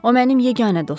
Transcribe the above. O mənim yeganə dostumdu.